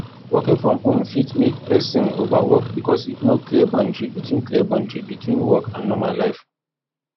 working from home fit make perosn overwork because no clear boundry between clear boundry between work and normal life